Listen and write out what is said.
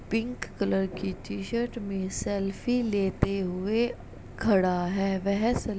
Pink colour की T-shirt में selfie लेते हुए खड़ा है। वह सेल् --